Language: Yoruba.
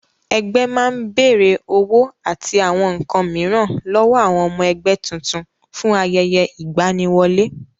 Ẹgbẹ́ máa ń bèrè owó àti àwọn nǹkan mìíràn lọ́wọ́ àwọn ọmọ ẹgbẹ́ tuntun fún ayẹyẹ ìgbaniwọlé.